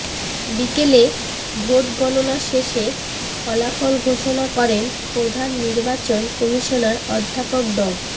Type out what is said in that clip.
বিকেলে ভোট গণনা শেষে ফলাফল ঘোষণা করেন প্রধান নির্বাচন কমিশনার অধ্যাপক ড